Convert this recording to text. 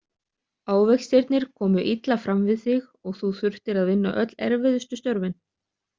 Ávextirnir komu illa fram við þig og þú þurftir að vinna öll erfiðustu störfin.